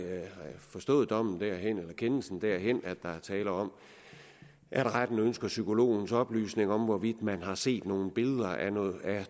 forstået kendelsen derhen at der er tale om at retten ønsker psykologens oplysninger om hvorvidt man har set nogle billeder af